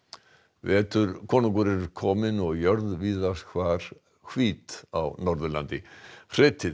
vetur konungur er kominn og jörð víðast hvar hvít á Norðurlandi